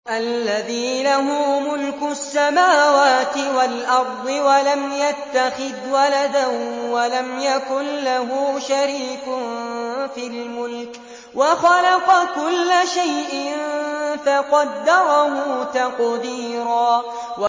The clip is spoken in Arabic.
الَّذِي لَهُ مُلْكُ السَّمَاوَاتِ وَالْأَرْضِ وَلَمْ يَتَّخِذْ وَلَدًا وَلَمْ يَكُن لَّهُ شَرِيكٌ فِي الْمُلْكِ وَخَلَقَ كُلَّ شَيْءٍ فَقَدَّرَهُ تَقْدِيرًا